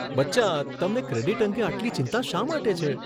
બચ્ચા, તમને ક્રેડિટ અંગે આટલી ચિંતા શા માટે છે?